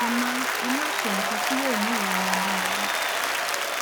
ẹ má ẹ má ṣe nǹkan tí yóò mú ìrora ba yín